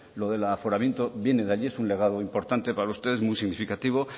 lo del aforamiento viene de allí es un legado importante para ustedes muy significativo